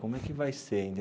Como é que vai ser ainda?